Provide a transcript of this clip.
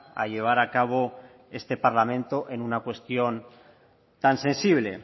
a llevar a cabo este parlamento en una cuestión tan sensible